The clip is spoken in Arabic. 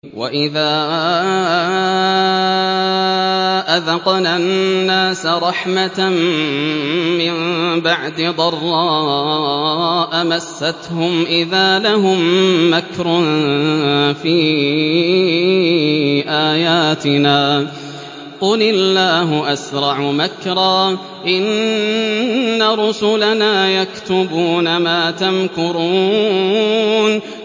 وَإِذَا أَذَقْنَا النَّاسَ رَحْمَةً مِّن بَعْدِ ضَرَّاءَ مَسَّتْهُمْ إِذَا لَهُم مَّكْرٌ فِي آيَاتِنَا ۚ قُلِ اللَّهُ أَسْرَعُ مَكْرًا ۚ إِنَّ رُسُلَنَا يَكْتُبُونَ مَا تَمْكُرُونَ